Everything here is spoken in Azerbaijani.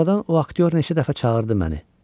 Sonradan o aktyor neçə dəfə çağırdı məni.